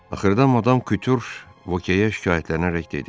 Axırda Madam Kütür Vokeyə şikayətlənərək dedi: